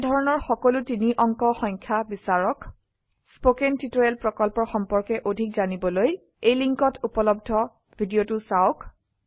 এনেধৰনৰ সকলো 3 অঙ্ক সংখ্যা বিচাৰক স্পোকেন টিউটোৰিয়েল প্ৰকল্পৰ সম্পৰ্কে অধিক জানিবলৈ এই লিঙ্কত উপলব্ধ ভিডিওটো চাওক